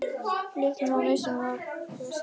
Lítum þá á mismunun og hvað felst í henni.